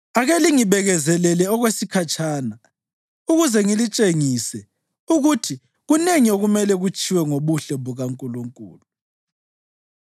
“Ake lingibekezelele okwesikhatshana ukuze ngilitshengise ukuthi kunengi okumele kutshiwo ngobuhle bukaNkulunkulu.